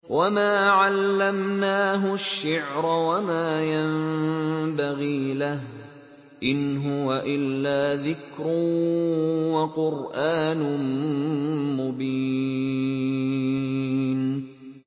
وَمَا عَلَّمْنَاهُ الشِّعْرَ وَمَا يَنبَغِي لَهُ ۚ إِنْ هُوَ إِلَّا ذِكْرٌ وَقُرْآنٌ مُّبِينٌ